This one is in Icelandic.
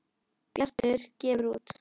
Bjartur gefur út